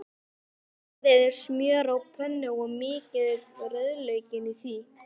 Bræðið smjör á pönnu og mýkið rauðlaukinn í því.